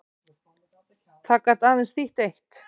Það gat aðeins þýtt eitt.